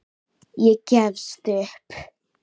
Ég gefst upp